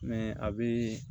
a bɛ